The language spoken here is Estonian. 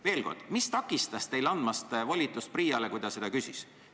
Veel kord, mis takistas teil andmast volitust PRIA-le, kui ta seda küsis?